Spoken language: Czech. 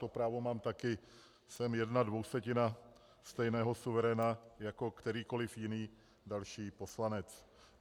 To právo mám taky, jsem jedna dvousetina stejného suveréna jako kterýkoliv jiný další poslanec.